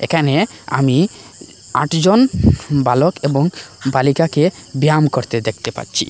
এখানে আমি আটজন বালক এবং বালিকাকে ব্যায়াম করতে দেখতে পাচ্ছি।